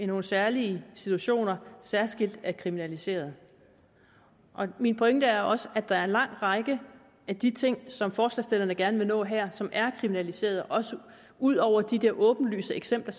nogle særlige situationer særskilt er kriminaliseret min pointe er også at der er en lang række af de ting som forslagsstillerne gerne vil nå her som er kriminaliseret også ud over de der åbenlyse eksempler